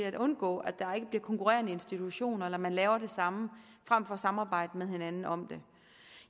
at undgå at der bliver konkurrerende institutioner eller at man laver det samme frem for at samarbejde med hinanden om det